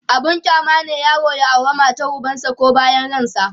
abun kyama ne yaro ya aure matar ubansa koh bayan ransa